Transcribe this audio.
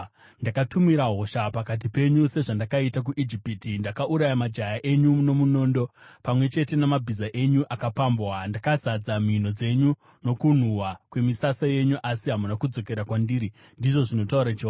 “Ndakatumira hosha pakati penyu sezvandakaita kuIjipiti. Ndakauraya majaya enyu nomunondo, pamwe chete namabhiza enyu akapambwa. Ndakazadza mhino dzenyu nokunhuhwa kwemisasa yenyu, asi hamuna kudzokera kwandiri,” ndizvo zvinotaura Jehovha.